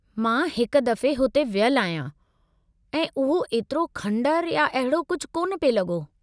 मां हिक दफ़े हुते वियलु आहियां, ऐं उहो एतिरो खंडर या अहिड़ो कुझु कोन पिए लॻो।